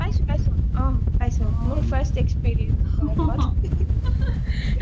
পাইছো পাইছো অ পাইছো মোৰ first experience life ত